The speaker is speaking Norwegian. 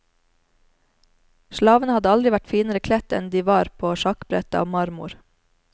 Slavene hadde aldri vært finere kledt enn de var på sjakkbrettet av marmor.